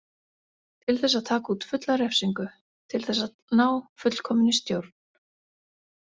Til þess að taka út fulla refsingu, til þess að ná fullkominni stjórn.